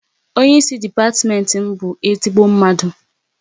Onye ịsị depatiment m bụ ezigbo mmadụ